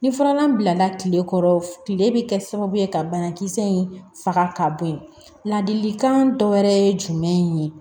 Ni furalan bilala tile kɔrɔ tile bɛ kɛ sababu ye ka banakisɛ in faga ka bɔ yen ladilikan dɔ wɛrɛ ye jumɛn ye